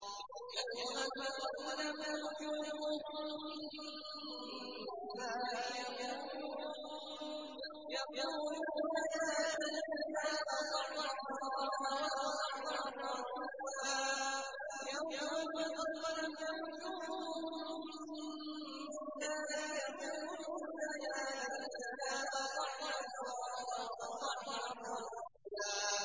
يَوْمَ تُقَلَّبُ وُجُوهُهُمْ فِي النَّارِ يَقُولُونَ يَا لَيْتَنَا أَطَعْنَا اللَّهَ وَأَطَعْنَا الرَّسُولَا